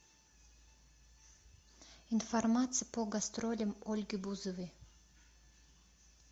информация по гастролям ольги бузовой